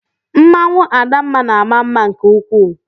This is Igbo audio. Mmanwụ adamma na-ama mma nke ukwuu.